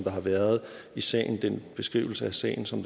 har været i sagen den beskrivelse af sagen som